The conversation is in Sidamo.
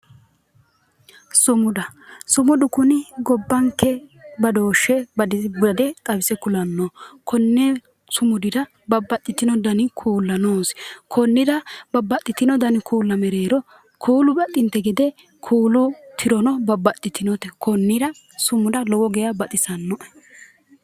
Sumuda, sumudu kuni gobbanke badooshe bade xawise kulano ,koni sumudira babbaxitino danni kuu'la noosi konira babbaxitino kuu'la mereero kuu'lu baxxite gede kuu'lu tirono babbaxitinote konira sumuda lowo geeshsha baxisanoe.